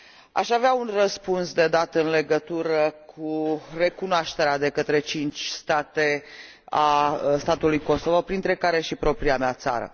Aș avea un răspuns de dat în legătură cu recunoașterea de către cinci state a statului Kosovo, printre care și propria mea țară.